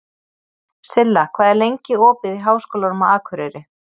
Silla, hvað er lengi opið í Háskólanum á Akureyri?